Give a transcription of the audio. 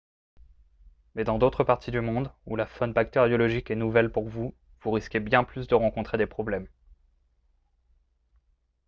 mais dans d'autres parties du monde où la faune bactériologique est nouvelle pour vous vous risquez bien plus de rencontrer des problèmes